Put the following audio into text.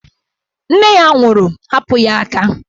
Nne ya nwụrụ, hapụ ya aka!